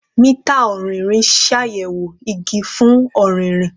Mita ọrinrin n ṣayẹwo igi fun ọririn